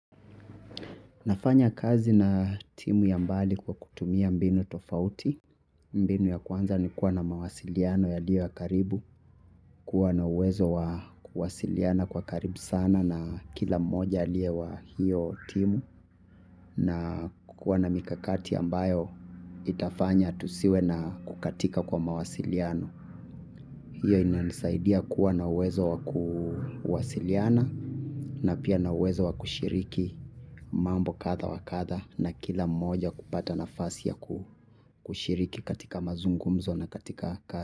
Nafanya kazi na timu ya mbali kwa kutumia mbinu tofauti, mbinu ya kwanza ni kuwa na mawasiliano yaliyo ya karibu, kuwa na uwezo wa kuwasiliana kwa karibu sana na kila moja aliye wa hiyo timu na kuwa na mikakati ambayo itafanya tusiwe na kukatika kwa mawasiliano. Hiyo inanisaidia kuwa na uwezo wa kuwasiliana na pia na uwezo wa kushiriki mambo kadha wa kadha na kila moja kupata nafasi ya kushiriki katika mazungumzo na katika kazi.